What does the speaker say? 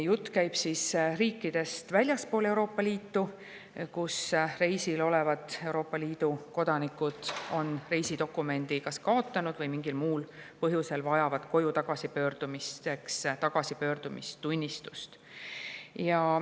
Jutt käib riikidest väljaspool Euroopa Liitu, kus reisil olevad Euroopa Liidu kodanikud on reisidokumendi kas kaotanud või mingil muul põhjusel vajavad koju tagasipöördumiseks tagasipöördumistunnistust.